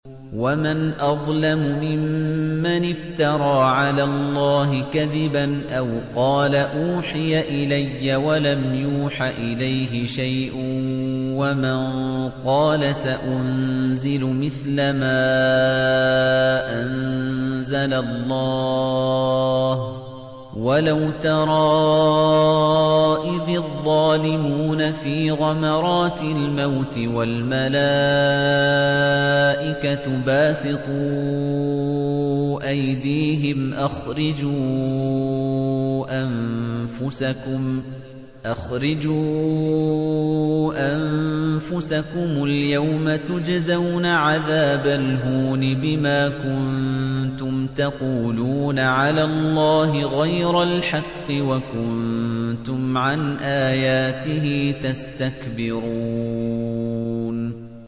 وَمَنْ أَظْلَمُ مِمَّنِ افْتَرَىٰ عَلَى اللَّهِ كَذِبًا أَوْ قَالَ أُوحِيَ إِلَيَّ وَلَمْ يُوحَ إِلَيْهِ شَيْءٌ وَمَن قَالَ سَأُنزِلُ مِثْلَ مَا أَنزَلَ اللَّهُ ۗ وَلَوْ تَرَىٰ إِذِ الظَّالِمُونَ فِي غَمَرَاتِ الْمَوْتِ وَالْمَلَائِكَةُ بَاسِطُو أَيْدِيهِمْ أَخْرِجُوا أَنفُسَكُمُ ۖ الْيَوْمَ تُجْزَوْنَ عَذَابَ الْهُونِ بِمَا كُنتُمْ تَقُولُونَ عَلَى اللَّهِ غَيْرَ الْحَقِّ وَكُنتُمْ عَنْ آيَاتِهِ تَسْتَكْبِرُونَ